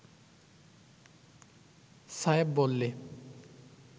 সায়েব বললে